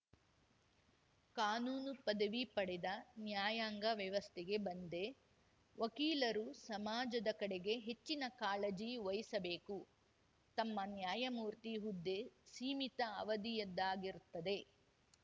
ಕಾನೂನು ಪದವಿ ಪಡೆದ ನ್ಯಾಯಾಂಗ ವ್ಯವಸ್ಥೆಗೆ ಬಂದೆ ವಕೀಲರು ಸಮಾಜದ ಕಡೆಗೆ ಹೆಚ್ಚಿನ ಕಾಳಜಿ ವಹಿಸಬೇಕು ತಮ್ಮ ನ್ಯಾಯಮೂರ್ತಿ ಹುದ್ದೆ ಸೀಮಿತ ಅವಧಿಯದ್ದಾಗಿರುತ್ತದೆ